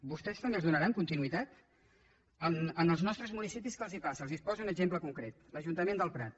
vostès també els donaran continuïtat als nostres municipis què els passa els poso un exemple concret l’ajuntament del prat